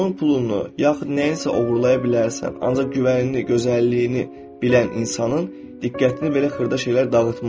Onun pulunu, yaxud nəyinsə oğurlaya bilərsən, ancaq güvənini, gözəlliyini bilən insanın diqqətini belə xırda şeylər dağıtmaz.